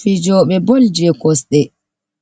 Fijoɓe bol je kosɗe,